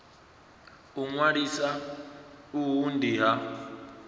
u ṅwalisa uhu ndi ha